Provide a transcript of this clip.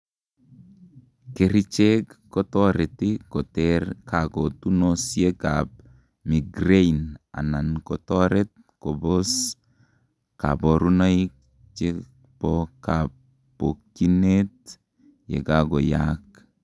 kerichek kotoreti koter kakotunosiek ab migraine anan kotoret kobos kaborunoik chebokabokiyinet yekagoyaak